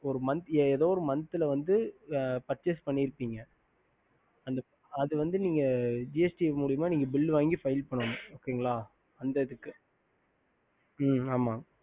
ஏதோவொரு momth percess பண்ணி இருப்பிங்கஅது வந்து மூலமா bill வாங்கி பண்ணனும்